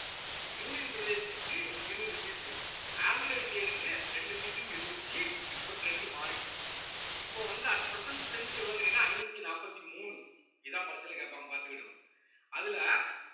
union பிரதேசத்துக்கு இருவது seat Anglo இந்தியர்க்கு ரெண்டு seat ன்னு இருந்துச்சு இப்ப trend மாறிட்டு இப்ப வந்து at present strength எவ்வளவுன்னு கேட்டீங்கன்னா ஐநூத்தி நாப்பத்தி மூணு இதான் பரிட்சையில கேட்பாங்க பார்த்துக்கிடணும் அதுல